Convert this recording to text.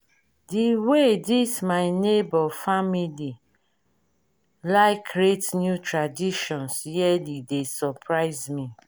di wey this my nebor family like create new traditions yearly dey surprise me.